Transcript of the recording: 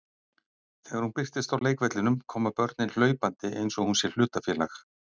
Þegar hún birtist á leikvellinum koma börnin hlaupandi eins og hún sé hlutafélag.